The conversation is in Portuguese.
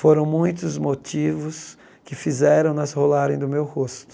Foram muitos motivos que fizeram-nas rolarem do meu rosto.